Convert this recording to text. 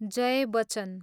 Jay Bachchan